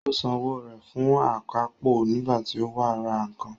Ó san owó rẹ̀ fún akápò nígbà tí ó wá ra nǹkan